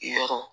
Yɔrɔ